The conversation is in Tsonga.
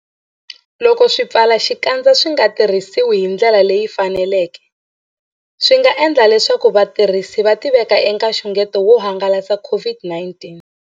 Loko swipfalaxikandza swi nga tirhisiwi hi ndlela leyi faneleke, swi nga endla leswaku vatirhisi va tiveka eka nxungeto wo hangalasa COVID-19.